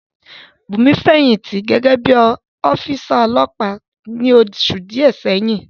Bùnmi fẹ̀yìntì gẹ́gẹ́ bí ọ́físà ọlọ́pàá ní oṣù díẹ̀ sẹ́yìn